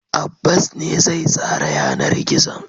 Abbas ne zai tsara yanar gizon.